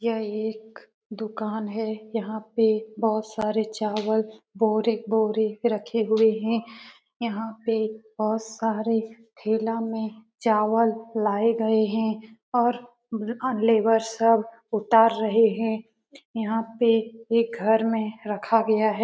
यहाँ एक दुकान है यहाँ पे बहुत सारे चावल बोरे बोरे से रखे हुए हैं यहाँ पे बहुत सारे ठेला में चावल लाए गए हैं और लेबर सब उतार रहे हैं यहाँ पे एक घर में रखा गया है।